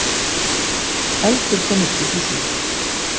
Eldur kom upp í húsinu